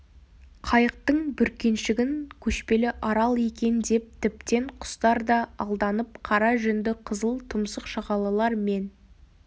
қайықтың бүркеншігін көшпелі арал екен деп тіптен құстар да алданып қара жүнді қызыл тұмсық шағалалар мен